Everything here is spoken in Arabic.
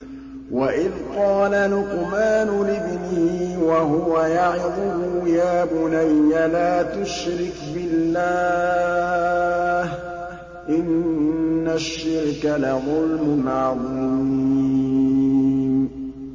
وَإِذْ قَالَ لُقْمَانُ لِابْنِهِ وَهُوَ يَعِظُهُ يَا بُنَيَّ لَا تُشْرِكْ بِاللَّهِ ۖ إِنَّ الشِّرْكَ لَظُلْمٌ عَظِيمٌ